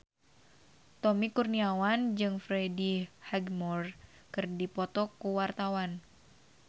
Tommy Kurniawan jeung Freddie Highmore keur dipoto ku wartawan